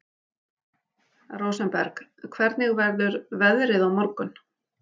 Rósenberg, hvernig verður veðrið á morgun?